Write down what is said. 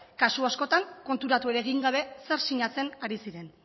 kasu askotan konturatu egin gabe zer sinatzen ari ziren